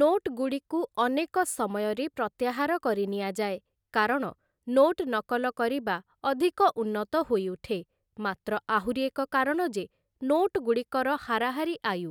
ନୋଟ୍‌ଗୁଡ଼ିକୁ ଅନେକ ସମୟରେ ପ୍ରତ୍ୟାହାର କରିନିଆଯାଏ, କାରଣ ନୋଟ୍‌ ନକଲ କରିବା ଅଧିକ ଉନ୍ନତ ହୋଇଉଠେ, ମାତ୍ର ଆହୁରି ଏକ କାରଣ ଯେ ନୋଟ୍‌ଗୁଡ଼ିକର ହାରାହାରି ଆୟୁ